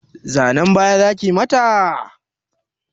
Zanan baya zakiyi mata?